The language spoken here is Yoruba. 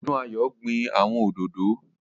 Odúnayọ̀ gbin àwọn òdòdó